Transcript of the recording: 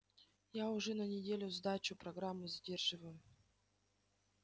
я уже на неделю сдачу программы задерживаю